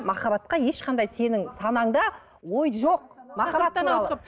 махаббатқа ешқандай сенің санаңда ой жоқ